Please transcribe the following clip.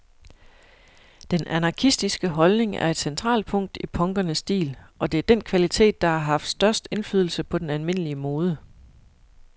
Den anarkistiske holdning er et centralt punkt i punkernes stil, og det er den kvalitet, der har haft størst indflydelse på den almindelige mode.